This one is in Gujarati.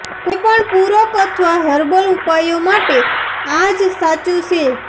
કોઈપણ પૂરક અથવા હર્બલ ઉપાયો માટે આ જ સાચું છે